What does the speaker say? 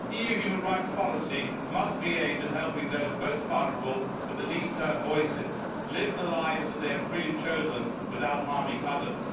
Human rights policy must be aimed at helping those most vulnerable, with the least heard voices, live the lives that they have freely chosen without harming others.